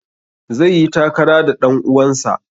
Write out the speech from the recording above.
Zai yi takara da ɗan uwansa.